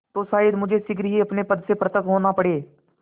तो शायद मुझे शीघ्र ही अपने पद से पृथक होना पड़े